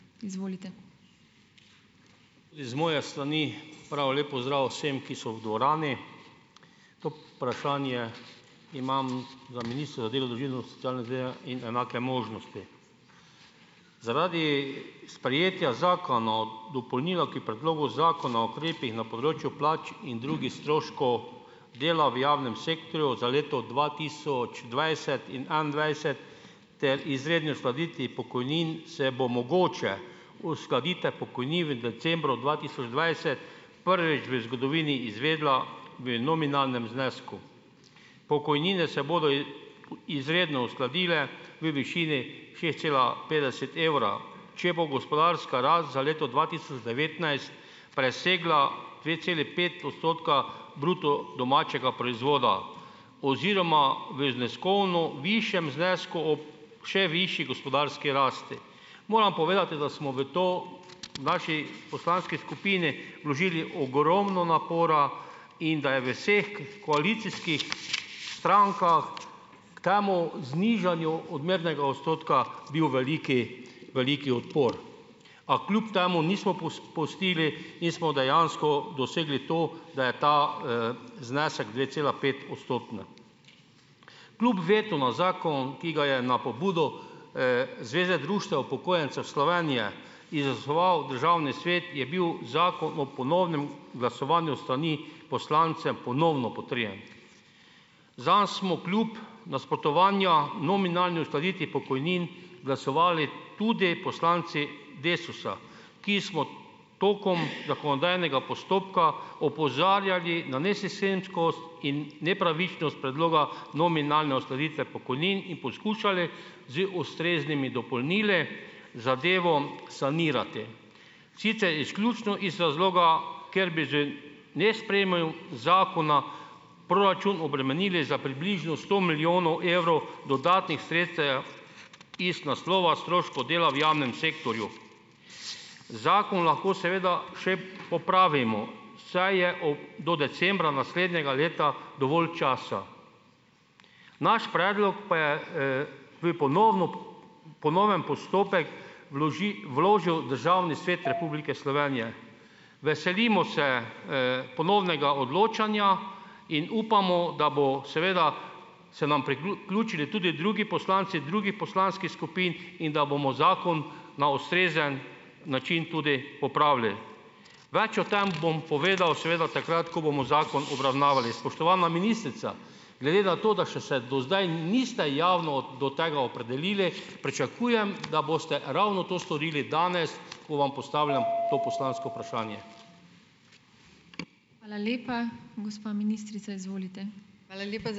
Iz moje strani prav lep pozdrav vsem, ki so v dvorani. To vprašanje imam in enake možnosti. Zaradi sprejetja zakona o dopolnilu k predlogu zakona o ukrepih na področju plač in drugi stroškov dela v javnem sektorju za leto dva tisoč dvajset in enaindvajset ter izredni uskladitvi pokojnin, se bo mogoče uskladite v decembrom dva tisoč dvajset prvič v zgodovini izvedla v nominalnem znesku. Pokojnine se bodo izredno uskladile v višini šest cela petdeset evra, če bo gospodarska rast za leto dva tisoč devetnajst presegla dve celi pet odstotka bruto domačega proizvoda oziroma v zneskovno višjem znesku ob še višji gospodarski rasti. Moram povedati, da smo v to v naši poslanski skupini vložili ogromno napora in da je v vseh koalicijskih strankah k temu znižanju odmernega odstotka bil velik velik odpor. A kljub temu nismo pustili in smo dejansko dosegli to, da je ta, znesek dve cela pet odstotne. Kljub vetu na zakon, ki ga je na pobudo, Zveze društev upokojencev Slovenije in zasnoval Državni svet, je bil zakon ob ponovnem glasovanju s strani poslancev ponovno potrjen. Zanj smo kljub nasprotovanju nominalni uskladitvi pokojnin glasovali tudi poslanci Desusa, ki smo tokom zakonodajnega postopka opozarjali na nesistemskost, in nepravičnost predloga nominalne uskladitve pokojnin in poskušali z ustreznimi dopolnili zadevo sanirati. Sicer izključno iz razloga, ker bi z zakona proračun obremenili za približno sto milijonov evrov dodatnih sredstev iz naslova stroškov dela v javnem sektorju. Zakon lahko seveda še popravimo, saj je do decembra naslednjega leta dovolj časa. Naš predlog pa je, ponovno ponoven postopek vložijo Državni svet Republike Slovenije. Veselimo se, ponovnega odločanja in upamo, da bo seveda se nam tudi drugi poslanci drugi poslanskih skupin in da bomo zakon na ustrezen način tudi popravili. Več o tem bom povedal seveda takrat, ko bomo zakon obravnavali. Spoštovana ministrica, glede na to, da še se do zdaj niste javno do tega opredelili, pričakujem, da boste ravno to storili danes, ko vam postavljam to poslansko vprašanje.